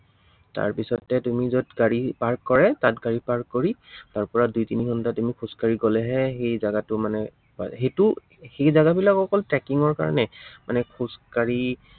তাৰপিছতে তুমি যত গাড়ী park কৰে তাত গাড়ী park কৰি, তাৰ পৰা দুই তিনি ঘন্টা তুমি খোজকাঢ়ি গলেহে, সেই জাগাটো মানে পায়, সেইটো সেই জাগাবিলাক অকল tracking ৰ কাৰনেই, মানে খাজকাঢ়ি